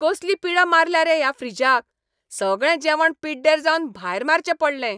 कसली पिडा मारल्या रे ह्या फ्रीजाक, सगळें जेवण पिड्डेर जावन भायर मारचें पडलें.